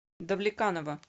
давлеканово